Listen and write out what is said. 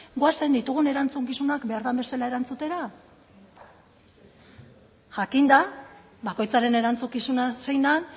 goazen ditugun erantzukizunak behar den bezala erantzutera jakinda bakoitzaren erantzukizuna zein den